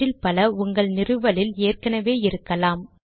அவற்றில் பல உங்கள் நிறுவலில் ஏற்கெனெவே இருக்கலாம்